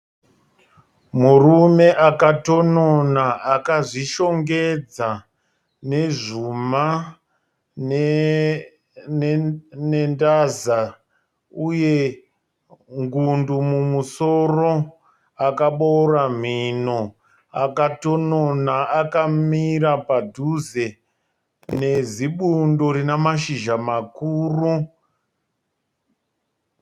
Murume akatonona akazvishongedza nezvuma nendaza uye ngundu mumusoro, akaboora mhino. Akatonona akamira padhuze nezibundo rina mashizha makuru